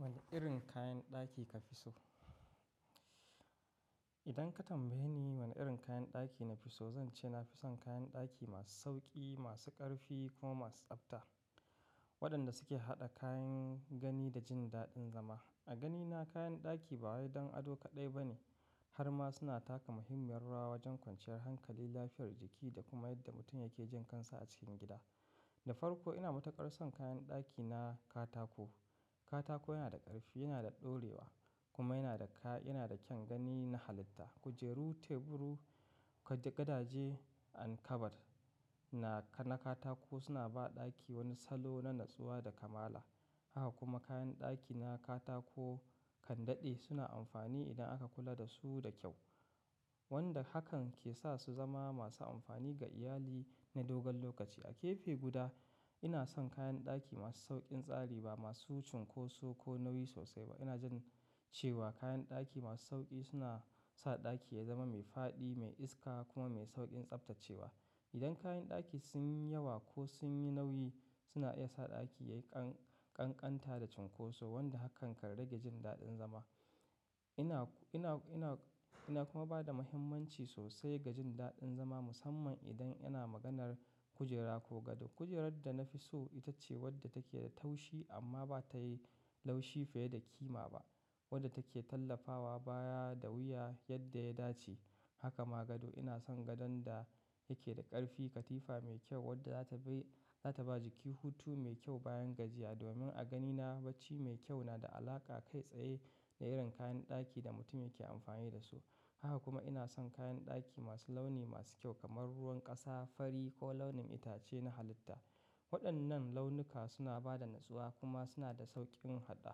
Wane irin kayan ɗaki ka fi so? Idan ka tambaye ni wane irin kayan ɗaki na fi so, zan ce na fi son kayan ɗaki masu sauƙi, masu ƙarfi kuma masu tsabta waɗanda suke haɗa kayan gani da jin daɗin zama. A ganina kayan ɗaki ba wai don ado kaɗai ba ne, har ma suna taka muhimmiyar rawa wajen kwanciyar hankali, lafiyar jiki da kuma yadda mutum yake jin kansa a cikin gida. Da farko ina matuƙar son kayan ɗaki na katako. Katako yana da ƙarfi, yana da ɗorewa kuma yana da ka, yana da kyan gani na halitta. Kujeru, teburu, gadaje, an kabad na, na katako suna ba ɗaki wani salo na natsuwa da kamala. Haka kuma kayan ɗaki na katako kan daɗe suna amfani idan aka kula da su da kyau, wanda hakan ke sa su zama masu amfani ga iyali na dogon lokaci. A gefe guda ina son kayan ɗaki masu sauƙin tsari ba masu cunkoso ko nauyi sosai ba. Ina jin cewa kayan ɗaki masu sauƙi suna sa ɗaki ya zama mai faɗi, mai iska kuma mai sauƙin tsabtacewa. Idan kayan ɗaki sun yi yawa ko sun yi nauyi suna iya sa ɗaki ya yi ƙanƙanta da cunkoso wanda hakan kan rage jin daɗin zama. Ina, ina, ina, ina kuma ba da muhimmanci sosai ga jin daɗin zama musamman idan ina maganar kujera ko gado. Kujerar da na fi so ita ce wadda take da taushi amma ba ta yi laushi fiye da ƙima ba, wadda take tallafawa baya da wuya yadda ya dace. Haka ma gado ina son gadon da yake da ƙarfi, katifa mai kyau wadda za ta bai, za ta ba jiki hutu mai kyau bayan gajiya domin a ganina bacci mai kyau na da alaƙa kai tsaye da irin kayan ɗaki da mutum yake amfani da su. Haka kuma ina son kayan ɗaki masu launi masu kyau kamar ruwan ƙasa, fari ko launin itace na halitta. Waɗannan launuka suna ba da natsuwa kuma suna da sauƙin haɗa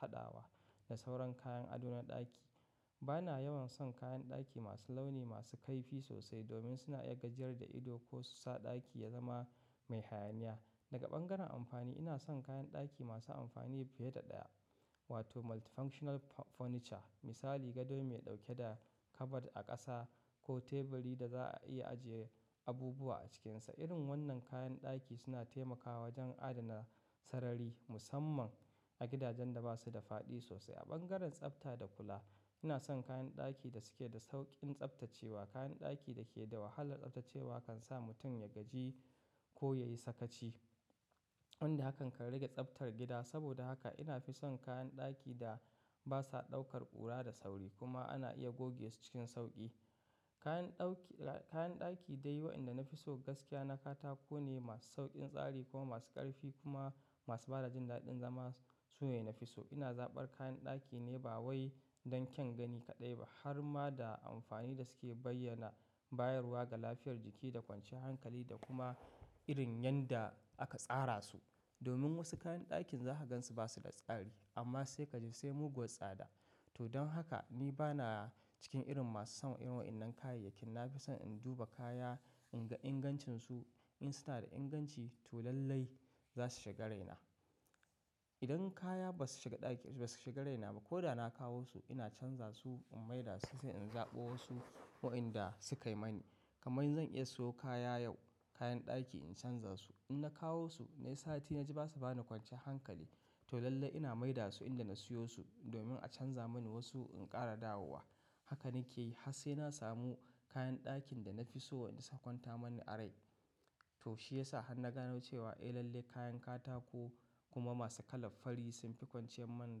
haɗawa da sauran kayan ado na ɗaki. Ba na yawan son kayan ɗaki masu launi masu kaifi sosai domin suna iya gajiyar da ido ko su sa ɗaki ya zama mai hayaniya. Daga bangaren amfani ina son kayan ɗaki masu amfani fiye da ɗaya wato multifunctional furniture. Misali gado mai ɗauke da kabad a ƙasa ko teburi da za a iya ajiye abubuwa a cikinsa. Irin wannan kayan ɗaki suna taimakawa wajen adana sarari musamman a gidajen da ba su da faɗi sosai. A bangaren tsabta da kula ina son kayan ɗaki da suke da sauƙin tsabtacewa. Kayan ɗaki da ke da wahalar tsabtacewa kan sa mutum ya gaji ko yayi sakaci wanda hakan kan rage tsabtar gida. Saboda haka ina fi son kayan ɗaki da basa ɗaukar ƙura da sauri kuma ana iya goge su cikin sauƙi. Kayan ɗauki, kayan ɗaki dai waɗanda na fi so gaskiya na katako ne masu sauƙin tsari kuma masu ƙarfi kuma masu bada jin daɗin zama su ne na fi so. Ina zaɓar kayan ɗaki ne ba wai don kyan gani kaɗai ba har ma da amfani da suke bayyana, bayarwa ga lafiyar jiki da kwanciyar hankali da kuma irin yanda aka tsara su. Domin wasu kayan ɗakin zaka gan su ba su da tsari amma sai kaji sai muguwar tsada. To don haka ni ba na cikin irin masu son irin wa innan kayayyakin. Na fi son in duba kaya, in ga ingancinsu, in suna da inganci to lallai za su shiga raina. Idan kaya ba su shiga ɗaki, ba su shiga raina ba ko da na kawo su ina canza su, in maida su sai in zaɓo wasu waɗanda su kai mani. Kaman zan iya siyo kaya yau, kayan ɗaki in canza su. In na kawo su na yi sa'a tin na ji ba su bani kwanciyar hankali to lallai ina maida su inda na siyo su domin a canza mani wasu in ƙara dawo wa. Haka nike yi har sai na samu kayan ɗakin da na fi so wanda su kwanta mani a rai. To shiyasa har na gano cewa eh lallai kayan katako kuma masu kalan fari sun fi kwanciyar man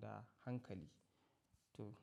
da hankali. To.